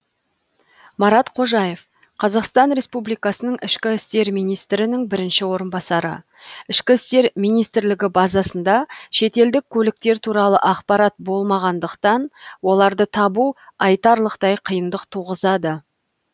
марат қожаев қазақстан республикасынығ ішкі істер министрінің бірінші орынбасары іім базасында шетелдік көліктер туралы ақпарат болмағандықтан оларды табу айтарлықтай қиындық туғызады